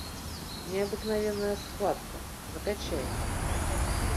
необыкновенная схватка закачай